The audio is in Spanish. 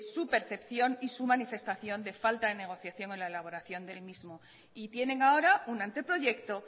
su percepción y su manifestación de falta de negociación en la elaboración del mismo y tienen ahora un anteproyecto